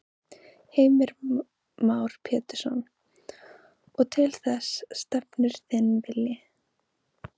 Heimir Már Pétursson: Og til þess stefnir þinn vilji?